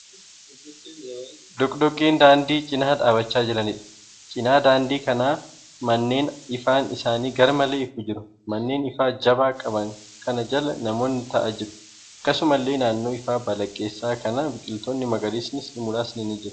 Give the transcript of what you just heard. Dhokodhokkee daandii cina dhaabbachaa jiraniidha. Cina daandii kanaan manneen ifaan isaanii garmalee ifu jiru. Manneen ifaa jabaa qaban kana jala namoonni ta'aa jiru. Akkasumallee naannoo ifaa balaqqeessa'aa kanaa biqilootni magariisni muraasni jiru.